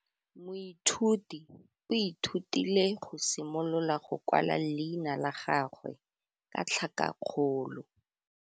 Moithuti o ithutile go simolola go kwala leina la gagwe ka tlhakakgolo.